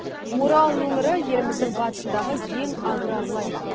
орал өңірі еліміздің батысындағы ең аграрлы аймақ